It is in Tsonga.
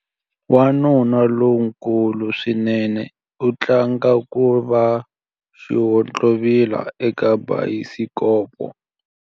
Wanuna lonkulu swinene u tlanga ku va xihontlovila eka bayisikopo.